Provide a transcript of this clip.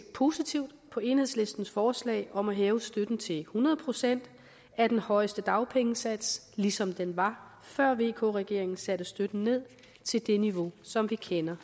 positivt på enhedslistens forslag om at hæve støtten til hundrede procent af den højeste dagpengesats ligesom den var før vk regeringen satte støtten ned til det niveau som vi kender